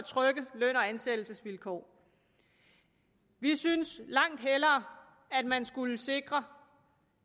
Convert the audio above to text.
løn og ansættelsesvilkår vi synes langt hellere at man skulle sikre